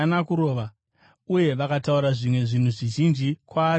uye vakataura zvimwe zvinhu zvizhinji kwaari vachimutuka.